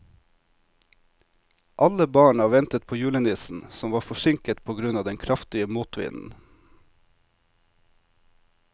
Alle barna ventet på julenissen, som var forsinket på grunn av den kraftige motvinden.